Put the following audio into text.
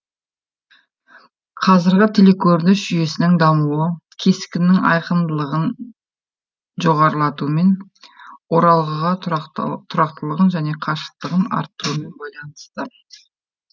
қазіргі телекөрініс жүйесінің дамуы кескіннің айқындылығын жоғарылатумен оралғыға тұрақтылығын және қашықтығын арттырумен байланысты